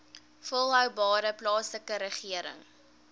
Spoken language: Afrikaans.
volhoubare plaaslike regering